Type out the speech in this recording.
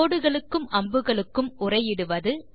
கோடுகளுக்கும் அம்புகளுக்கும் உரை இடுவது